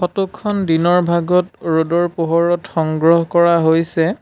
Photo খন দিনৰ ভাগত ৰ'দৰ পোহৰত সংগ্ৰহ কৰা হৈছে।